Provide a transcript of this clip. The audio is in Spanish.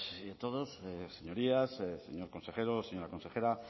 y a todos señorías señores consejero señora consejera